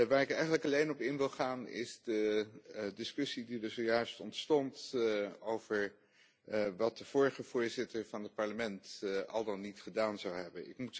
Waar ik eigenlijk alleen op in wil gaan is de discussie die er zojuist ontstond over wat de vorige Voorzitter van het Parlement al dan niet gedaan zou hebben.